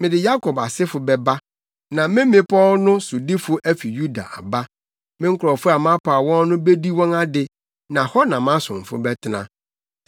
Mede Yakob asefo bɛba, na me mmepɔw no sodifo afi Yuda aba; me nkurɔfo a mapaw wɔn no bedi wɔn ade, na hɔ na mʼasomfo bɛtena.